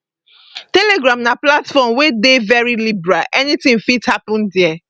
telegram na platform wey dey very liberal anything fit happen dia